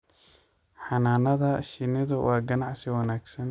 Xannaanada shinnidu waa ganacsi wanaagsan.